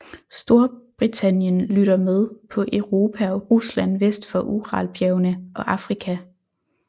Storbritannien lytter med på Europa og Rusland vest for Uralbjergene og Afrika